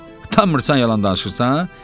A dedi, utanmırsan yalan danışırsan?